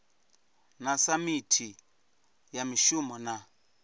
na samithi ya mishumo na